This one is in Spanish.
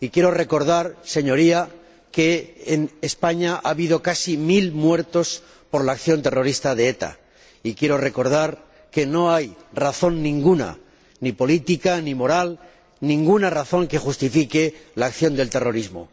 Quiero recordar, Señoría, que en España ha habido casi mil muertos por la acción terrorista de ETA y que no hay razón ninguna, ni política ni moral, ninguna razón que justifique la acción del terrorismo.